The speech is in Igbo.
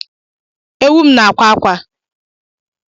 Ewu m na-akwa akwa